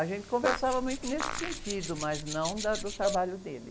A gente conversava muito nesse sentido, mas não da, do trabalho dele.